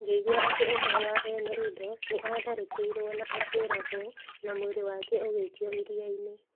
Ngĩigua atĩ ũmwe wa ene indo nĩ aatharĩkĩirũo na akĩũragwo - na mwĩrĩ wake ũgĩikio iria-inĩ".